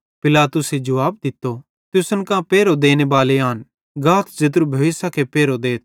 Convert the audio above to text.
पिलातुसे जुवाब दित्तो तुसन कां पेरहो देनेबाले आन गाथ ज़ेत्रू भोइसखे पेरहो देथ